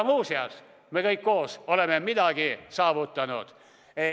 Muuseas, me kõik koos olemegi juba midagi saavutanud.